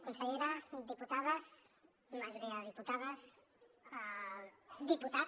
consellera diputades majoria de diputades diputat